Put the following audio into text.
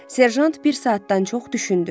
Serjant bir saatdan çox düşündü.